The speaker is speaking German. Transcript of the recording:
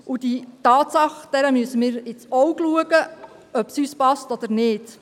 Dieser Tatsache müssen wir ins Auge blicken, ob es uns passt oder nicht.